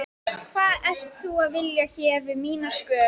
Hvað ert þú að vilja hér við mína skör?